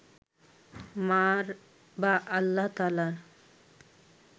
মা’র বা আল্লাহ তায়ালার